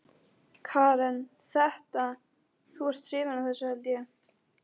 Karen: Þetta, þú ert hrifinn af þessu held ég?